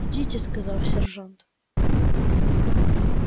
идите сказал сержант